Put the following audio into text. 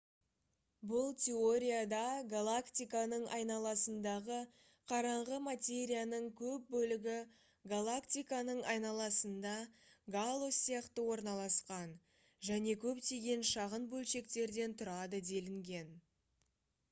бұл теорияда галактиканың айналасындағы қараңғы материяның көп бөлігі галактиканың айналасында гало сияқты орналасқан және көптеген шағын бөлшектерден тұрады делінген